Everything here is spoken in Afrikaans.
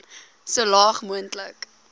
so laag moontlik